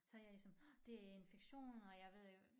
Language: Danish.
Så jeg ligesom det er infektion og jeg ved ikke